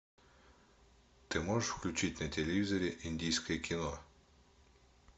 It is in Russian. ты можешь включить на телевизоре индийское кино